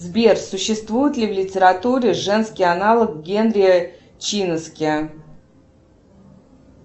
сбер существует ли в литературе женский аналог генри чинаски